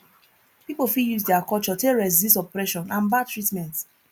pipo fit use their culture take resist oppression and bad treatment